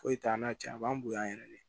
Foyi t'an n'a cɛ a b'an bonya yɛrɛ de